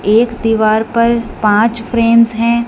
एक दीवार पर पांच फ्रेमस हैं।